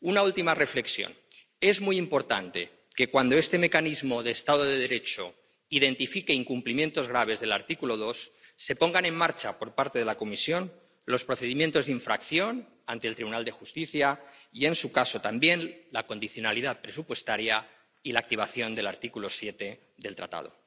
Una última reflexión es muy importante que, cuando este mecanismo para el Estado de Derecho identifique incumplimientos graves del artículo 2, se pongan en marcha por parte de la Comisión los procedimientos de infracción ante el Tribunal de Justicia y, en su caso, también la condicionalidad presupuestaria y la activación del artículo 7 del Tratado.